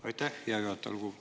Aitäh, hea juhataja!